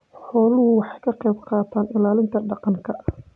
Xooluhu waxay ka qayb qaataan ilaalinta deegaanka.